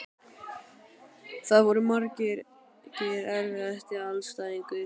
Það voru margir Erfiðasti andstæðingur?